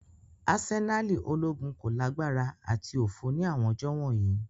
Asenali ologun ko lagbara ati ofo ni awọn ọjọ wọnyi.